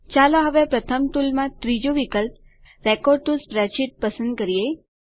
ચાલો હવે પ્રથમ ટુલમાં ત્રીજું વિકલ્પ રેકોર્ડ ટીઓ સ્પ્રેડશીટ વિકલ્પ પસંદ કરીએ